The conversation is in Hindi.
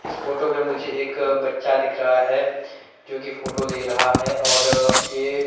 इस फोटो में मुझे एक बच्चा दिख रहा है जो कि फोटो ले रहा है और यह--